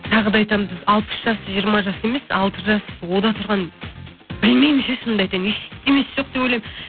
тағы айтамын біз алпыс жас жиырма жас емес алты жас онда тұрған білмеймін ше шынымды айтайын ештенесі жоқ деп ойлаймын